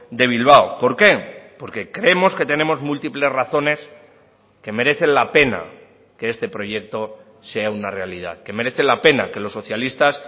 de bilbao por qué porque creemos que tenemos múltiples razones que merecen la pena que este proyecto sea una realidad que merece la pena que los socialistas